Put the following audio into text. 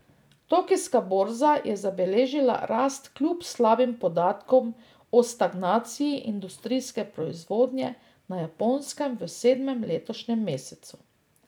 Tokijska borza je zabeležila rast kljub slabim podatkom o stagnaciji industrijske proizvodnje na Japonskem v sedmem letošnjem mesecu.